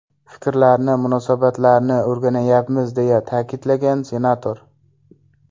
Fikrlarni, munosabatlarni o‘rganyapmiz”, deya ta’kidlagan senator.